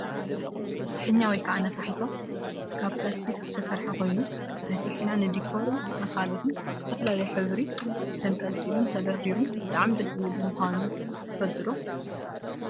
ፍሕኛ /ነፋሒቶ/ ካብ ፕላስቲክ ዝተሰረሓ ኮይኑ ነፍሒና ንዲኮርን ካልኦትን ብዝተፈላለዩ ሕብሪ ተንጠልጢሉ ተደርድሪ ብጣዕሚ ደስ ዝብል ምኳኑ ትፈልጡ ዶ ?